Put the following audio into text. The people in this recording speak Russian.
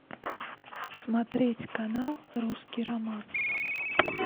смотреть канал русский роман